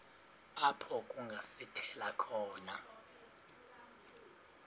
apho kungasithela khona